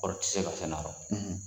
O tɛ se ka fɛn nafa.